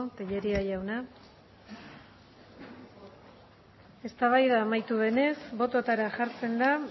tellería jauna eztabaida amaitu denez bototara jartzen da